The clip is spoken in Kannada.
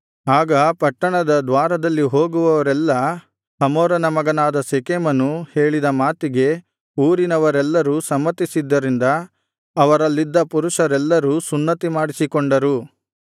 ಆಗ ಪಟ್ಟಣದ ದ್ವಾರದಲ್ಲಿ ಹೋಗುವವರೆಲ್ಲಾ ಹಮೋರನ ಮಗನಾದ ಶೆಕೆಮನೂ ಹೇಳಿದ ಮಾತಿಗೆ ಊರಿನವರೆಲ್ಲರೂ ಸಮ್ಮತಿಸಿದ್ದರಿಂದ ಅವರಲ್ಲಿದ್ದ ಪುರುಷರೆಲ್ಲರೂ ಸುನ್ನತಿಮಾಡಿಸಿಕೊಂಡರು